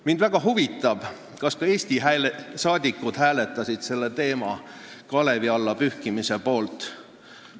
Mind väga huvitab, kas ka Eesti saadikud hääletasid selle teema kalevi alla panemise poolt.